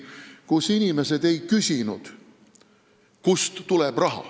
Siis inimesed ei küsinud, kust raha tuleb.